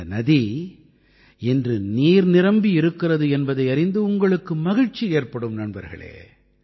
இந்த நதி இன்று நீர் நிரம்பி இருக்கிறது என்பதை அறிந்து உங்களுக்கு மகிழ்ச்சி ஏற்படும் நண்பர்களே